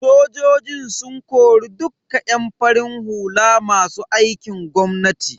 Sojojin sun kori dukka yan farin hula masu aikin gwamnati.